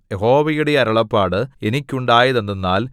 യഹോവയുടെ അരുളപ്പാട് എനിക്കുണ്ടായതെന്തെന്നാൽ